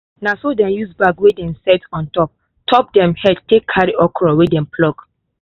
na so dey use bag wey dem set on top top dem head take carry okra wey dem pluck